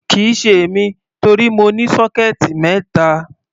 Kì í ṣe èmi, torí mo ní sọ́kẹ́ẹ̀tì mẹ́ta.